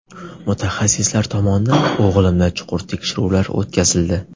Mutaxassislar tomonidan o‘g‘limda chuqur tekshiruvlar o‘tkazildi.